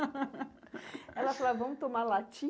Ela falava, vamos tomar latim?